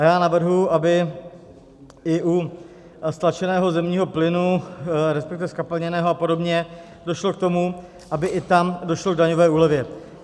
A já navrhuji, aby i u stlačeného zemního plynu, respektive zkapalněného a podobně, došlo k tomu, aby i tam došlo k daňové úlevě.